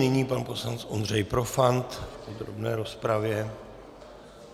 Nyní pan poslanec Ondřej Profant v podrobné rozpravě.